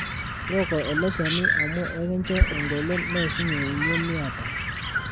tooko ele shani amu ekincho engolon neishunye emion niata